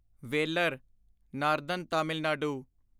Vellore northern Tamil Nadu